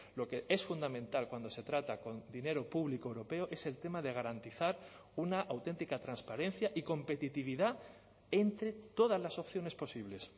lo que es fundamental cuando se trata con dinero público europeo es el tema de garantizar una auténtica transparencia y competitividad entre todas las opciones posibles